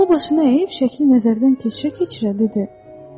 O başını əyib şəkli nəzərdən keçirə-keçirə dedi: